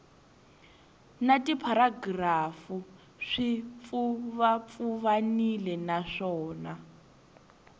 na tipharagirafu swi pfuvapfuvanile naswona